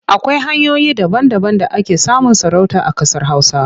Akwai hanyoyi daba-daban da ake samun sarauta a ƙasar Hausa.